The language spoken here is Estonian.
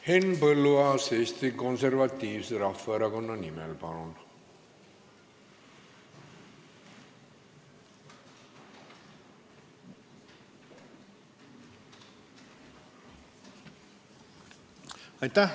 Henn Põlluaas Eesti Konservatiivse Rahvaerakonna nimel, palun!